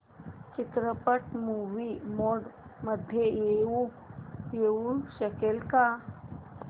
चित्रपट movie mode मध्ये येऊ शकेल का